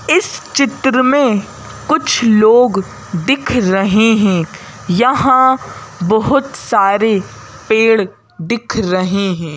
इस चित्र में कुछ लोग दिख रहे हैं यहाँ बहुत सारे पेड़ दिख रहे हैं।